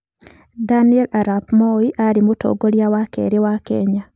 Daniel arap Moi aarĩ Mũtongoria wa kerĩ wa Kenya.